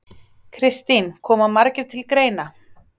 Kristín: Koma margir til greina?